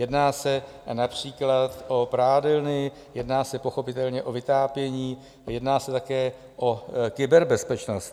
Jedná se například o prádelny, jedná se pochopitelně o vytápění, jedná se také o kyberbezpečnost.